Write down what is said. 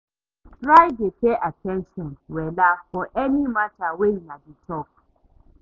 Try dey pay at ten tion wella for any mata wey una dey talk